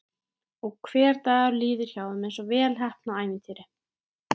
Og hver dagur líður hjá þeim einsog vel heppnað ævintýri.